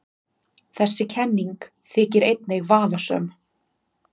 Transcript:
Þessi kenning þykir einnig vafasöm.